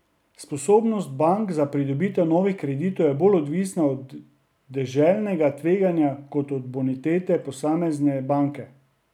Sposobnost bank za pridobitev novih kreditov je bolj odvisna od deželnega tveganja kot od bonitete posamezne banke.